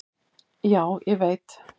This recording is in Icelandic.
"""Já, ég veit"""